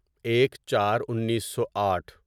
ایک چار انیسو آٹھ